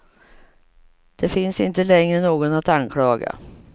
Det finns inte längre någon att anklaga.